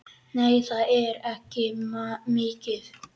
Nei, það er ekki mikið.